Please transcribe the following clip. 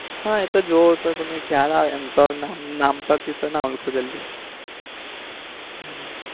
હા એતો જોવો તો તમને ખ્યાલ આવે એમ તો નામ પર થી તો ના ઓળખો તમે જલ્દી.